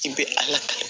I bɛ ala ta